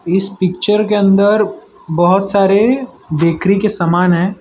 इस पिक्चर के अंदर बहोत सारे बेकरी के समान है।